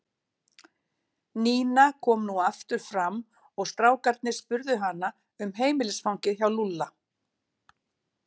Nína kom nú aftur fram og strákarnir spurðu hana um heimilisfangið hjá Lúlla.